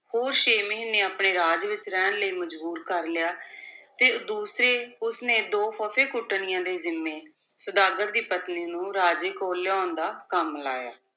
ਹੋਰ ਛੇ ਮਹੀਨੇ ਆਪਣੇ ਰਾਜ ਵਿਚ ਰਹਿਣ ਲਈ ਮਜਬੂਰ ਕਰ ਲਿਆ ਤੇ ਦੂਸਰੇ ਉਸ ਨੇ ਦੋ ਫੱਫੇਕੁੱਟਣੀਆਂ ਦੇ ਜਿੰਮੇ ਸੁਦਾਗਰ ਦੀ ਪਤਨੀ ਨੂੰ ਰਾਜੇ ਕੋਲ ਲਿਆਉਣ ਦਾ ਕੰਮ ਲਾਇਆ।